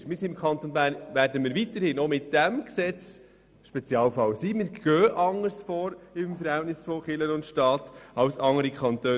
Das Verhältnis zwischen Kirche und Staat ist weiterhin anders als in den anderen Kantonen.